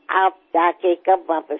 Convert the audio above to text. આપ જઈને પરત ક્યારે ફરશો